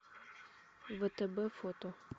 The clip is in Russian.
втб фото